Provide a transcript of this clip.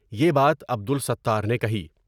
یہ بات عبدالستار نے کہی ۔